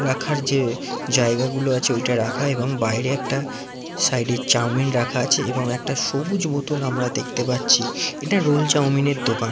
রাখার যে জায়গা গুলো আছে ওটা রাখাএবং বাইরে একটা সাইড - এ চাউমিন রাখা আছে । এবং একটা সবুজ বোতল আমরা দেখতে পাচ্ছি এটা রোল চাউমিন -এর দোকান ।